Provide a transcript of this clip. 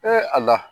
ala